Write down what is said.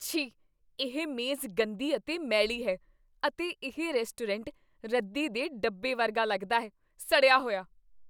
ਛੀ! ਇਹ ਮੇਜ਼ ਗੰਦੀ ਅਤੇ ਮੈਲੀ ਹੈ ਅਤੇ ਇਹ ਰੈਸਟੋਰੈਂਟ ਰੱਦੀ ਦੇ ਡੱਬੇ ਵਰਗਾ ਲੱਗਦਾ ਹੈ, ਸੜਿਆ ਹੋਇਆ!!